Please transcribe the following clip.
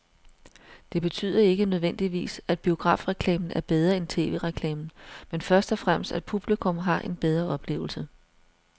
Det betyder ikke nødvendigvis, at biografreklamen er bedre end tv-reklamen, men først og fremmest at publikum har haft en bedre oplevelse.